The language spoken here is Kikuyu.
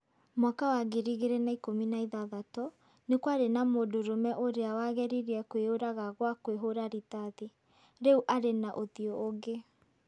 mwaka wa 2016, nĩ kwarĩ na mundũrũme ũrĩa wageririe kwĩyũraga gwa kwĩhora rithathi. Rĩu arĩ na ũthiũ ũngĩ.